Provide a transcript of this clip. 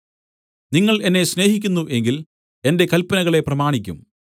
നിങ്ങൾ എന്നെ സ്നേഹിക്കുന്നു എങ്കിൽ എന്റെ കല്പനകളെ പ്രമാണിക്കും